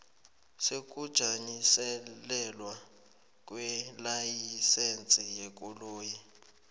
sokujanyiselelwa kwelayisense yekoloyi